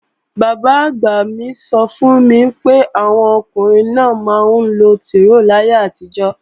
Bàbá-àgbà mí sọ fún mi pé, àwọn ọkùnrin náà máa ńlo tìróò láyé àtijó